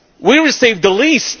We receive the